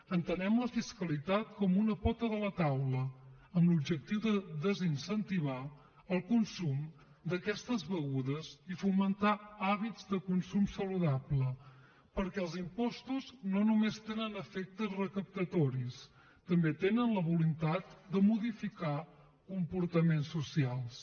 entenem la fiscalitat com una pota de la taula amb l’objectiu de desincentivar el consum d’aquestes begudes i fomentar hàbits de consum saludable perquè els impostos no només tenen efectes recaptatoris també tenen la voluntat de modificar comportaments socials